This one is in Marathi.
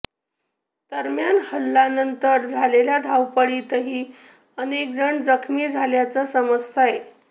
दरम्यान हल्ल्या नंतर झालेल्या धावपळीतही अनेक जण जखमी झाल्याचं समजतंय